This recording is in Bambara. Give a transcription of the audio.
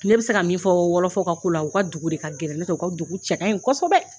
Ne bɛ se ka min fɔ wɔlɔfɔw ka la u ka dugu de ka gɛlɛn n'o tɛ u ka dugu cɛ ka ɲi kosɛbɛ